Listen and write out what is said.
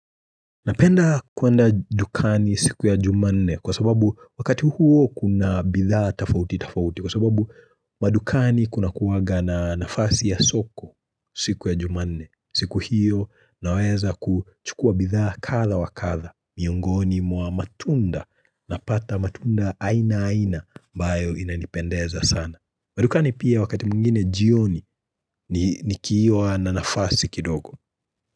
Napenda kuenda dukani siku ya juma nne, kwa sababu wakati huo kuna bidhaa tafauti tafauti kwa sababu madukani kunakuwaga na nafasi ya soko, siku ya juma nne. Siku hiyo naweza ku chukua bidhaa katha wa katha, miongoni mwa matunda, napata matunda aina aina bayo inanipendeza sana. Madukani pia wakati mungine jioni nikiwa na nafasi kidogo.